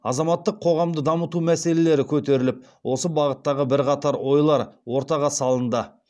азаматтық қоғамды дамыту мәселелері көтеріліп осы бағыттағы бірқатар ойлар ортаға салынды